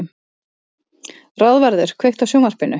Ráðvarður, kveiktu á sjónvarpinu.